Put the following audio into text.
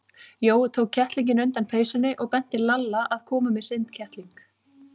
Jói tók kettlinginn undan peysunni og benti Lalla að koma með sinn kettling.